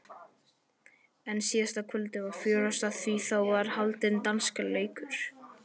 En síðasta kvöldið var fjörugast því þá var haldinn dansleikur.